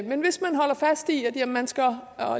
men hvis man holder fast i at man skal